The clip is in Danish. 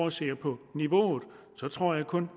at se på niveauet tror jeg kun